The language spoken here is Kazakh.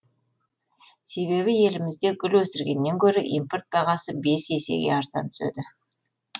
себебі елімізде гүл өсіргеннен гөрі импорт бағасы бес есеге арзан түседі